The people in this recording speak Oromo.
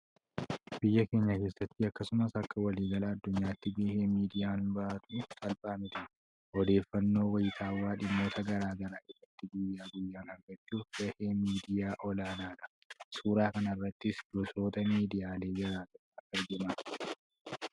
Biyya keenya keessatti akkasumas akka waliigala addunyaatti gahee miidiyaan bahatu salphaa miti. Odeeffannoo wayitawaa dhimmoota gara garaa irratti guyyaa guyyaan argachuuf gaheen miidiyaa olaanaadha. Suuraa kanarrattis gosoota miidiyaalee gara garaa argina.